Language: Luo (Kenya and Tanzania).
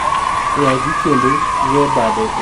AIV kendo we bade oboke kod kisike manie e lowo